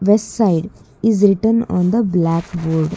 West side is written on the blackboard.